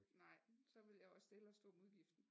Nej så ville jeg også hellere stå med udgiften